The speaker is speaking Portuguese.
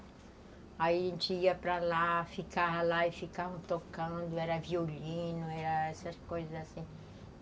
Aí a gente ia para lá, ficávamos lá e ficavam tocando, era violino, era essas coisas assim.